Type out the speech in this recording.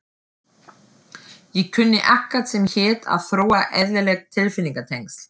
Ég kunni ekkert sem hét að þróa eðlileg tilfinningatengsl.